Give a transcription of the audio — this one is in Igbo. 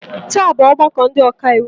Taa bụ ọgbakọ ndị ọka iwu.